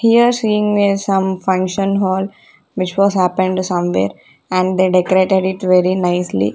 here seeing a some function hall which was happened somewhere and they decorated it very nicely.